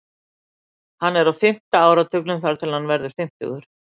Hann er á fimmta áratugnum þar til hann verður fimmtugur.